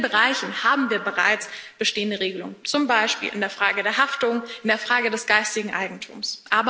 In vielen Bereichen haben wir bereits bestehende Regelungen, zum Beispiel in der Frage der Haftung, in der Frage des geistigen Eigentums.